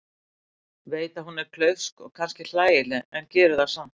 Veit að hún er klaufsk og kannski hlægileg en gerir það samt.